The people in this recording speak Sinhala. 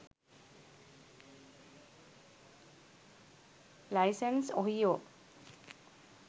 license ohio